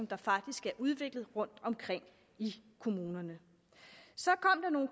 der faktisk er udviklet rundtomkring i kommunerne så